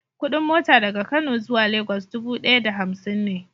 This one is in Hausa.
Kudin mota daga Kano zuwa Lagos dubu daya da hamsin ne.